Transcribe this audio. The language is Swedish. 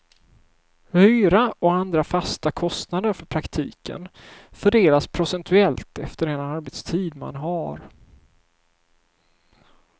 Hyra och andra fasta kostnader för praktiken fördelas procentuellt efter den arbetstid man har.